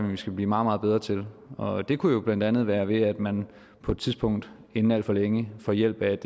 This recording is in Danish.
vi skal blive meget meget bedre til og det kunne jo blandt andet være ved at man på et tidspunkt inden alt for længe får hjælp af et